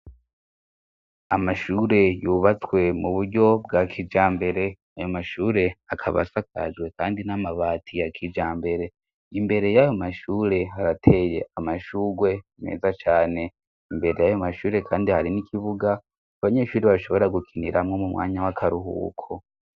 Amashure yubatswe mu buryo bwa kijambere ayo mashure akaba asakajwe kandi n'amabati ya kijambere imbere y'ayo mashure arateye amashuwe meza cane. Imbere y'ayo mashure kandi hari n'ikibuga abanyeshuri bashobora gukiniramo mu mwanya w'akaruhuko.